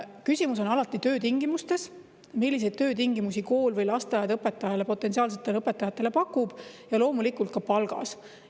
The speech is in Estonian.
Küsimus on alati töötingimustes, milliseid töötingimusi kool või lasteaed potentsiaalsetele õpetajatele pakub, ja loomulikult ka palgas.